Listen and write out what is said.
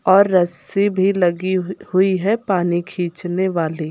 और रस्सी भी लगी हुई है पानी खींचने वाली।